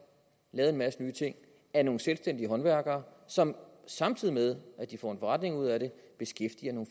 lavet en masse nye ting af nogle selvstændige håndværkere som samtidig med at de får en forretning ud af det beskæftiger nogle